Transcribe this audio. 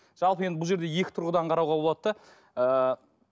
жалпы енді бұл жерде екі тұрғыдан қарауға болады да ыыы